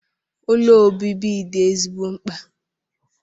Ụlọ obibi dị ezigbo mkpa.